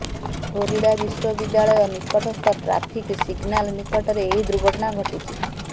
Florida ବିଶ୍ୱବିଦ୍ୟାଳୟ ନିକଟସ୍ଥ traffic signal ନିକଟରେ ଏହି ଦୁର୍ଘଟଣା ଘଟିଛି